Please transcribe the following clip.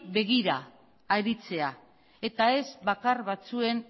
begira aritzea eta ez bakar batzuen